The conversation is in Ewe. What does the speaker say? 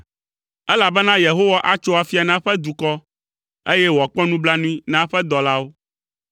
Elabena Yehowa atso afia na eƒe dukɔ, eye wòakpɔ nublanui na eƒe dɔlawo.